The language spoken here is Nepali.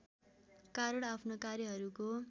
कारण आफ्नो कार्यहरूको